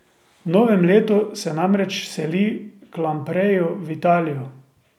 V novem letu se namreč seli k Lampreju v Italijo.